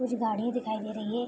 कुछ गाड़ी दिखाई दे रही है।